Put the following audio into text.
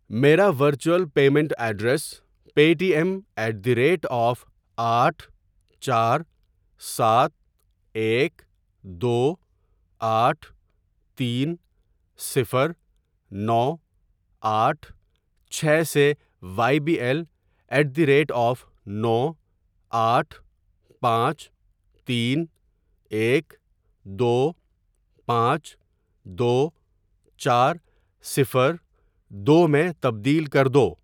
میرا virtual payment ایڈریسپے T M at the rate of آٹھ چار سات ایک دو آٹھ تین صفر نو آٹھ چھ سے وائی بی ایل ایٹ دس ریٹ آف نو آٹھ پانچ تین ایک دو پانچ دو چار صفر دو میں تبدیل کر دو۔